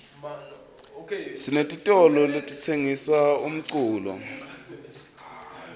sinetitolo letisengisa uumculo